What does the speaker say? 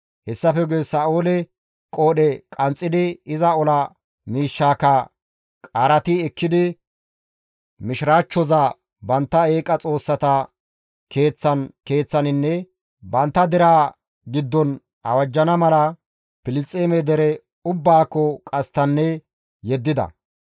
Hessafe guye Sa7oole qoodhe qanxxidi, iza ola miishshaakka qaarati ekkidi, mishiraachchoza bantta eeqa xoossata keeththan keeththaninne bantta deraa giddon awajjana mala Filisxeeme dere ubbaakko qasttanne yeddida.